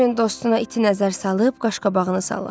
Dorian dostuna iti nəzər salıb qaş-qabağını salladı.